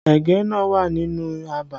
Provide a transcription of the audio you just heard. Ẹ̀gẹ́ náà wà nínú abà